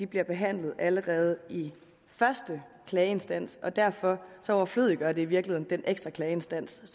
bliver behandlet allerede i første klageinstans og derfor overflødiggør det i virkeligheden den ekstra klageinstans